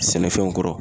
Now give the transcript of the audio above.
Sɛnɛfɛnw kɔrɔ